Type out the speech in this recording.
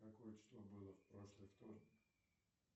какое число было в прошлый вторник